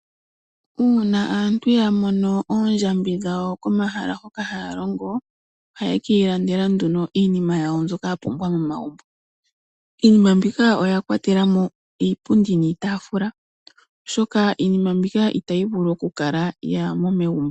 Uuna aantu ya mono oondjambi dhawo komahala hoka haya longo ohaye kiilandela nduno iinima yawo mbyoka ya pumbwa momagumbo. Iinima mbika oya kwatela mo iipundi niitaafula, oshoka iinima mbika itayi vulu oku kala kayiimo megumbo.